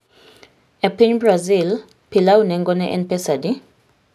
E piny Brazil, pilau nengone en pesa adi?